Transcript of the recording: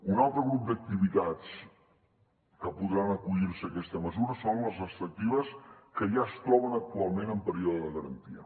un altre grup d’activitats que podran acollir se a aquesta mesura són les extractives que ja es troben actualment en període de garantia